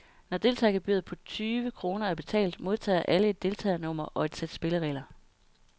Når deltagergebyret på tyve kroner er betalt, modtager alle et deltagernummer og et sæt spilleregler.